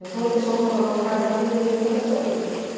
Ele falou que sou rancorosa, que cada um tem o direito de refazer a sua vida.